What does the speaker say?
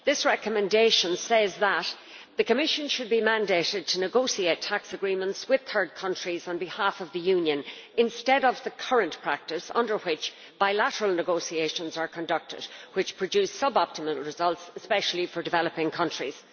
This recommendation says that the Commission should be mandated to negotiate tax agreements with third countries on behalf of the Union, instead of the current practice under which bilateral negotiations are conducted which produce sub-optimal results, especially for developing countries.